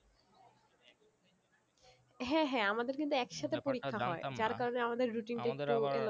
হ্যাঁ হ্যাঁ আমাদের কিন্তু একসাথে পরীক্ষা হয়ে যার কারণে আমাদের routine টা একটু এলো মেলো থাকে